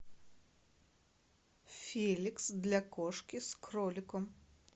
феликс для кошки с кроликом